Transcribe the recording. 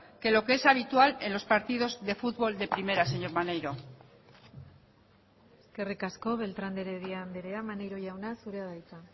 que lo que es habitual en los partidos de futbol de primera señor maneiro eskerrik asko beltrán de heredia andrea maneiro jauna zurea da hitza